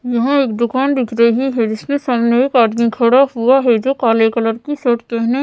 यह दुकान दिख रही है जिसमें सामने एक आदमी खड़ा हुआ है जो काले कलर का सेट पहने--